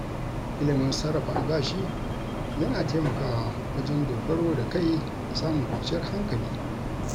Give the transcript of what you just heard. Ilimin sarrafa albashi yana taimakawa wajen dogaro da kai da samun kwanciyar hankali.